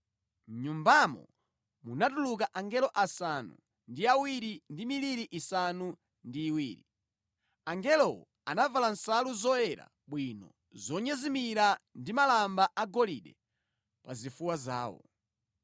Mʼnyumbamo munatuluka angelo asanu ndi awiri ndi miliri isanu ndi iwiri. Angelowo anavala nsalu zoyera bwino zonyezimira ndi malamba agolide pa zifuwa zawo.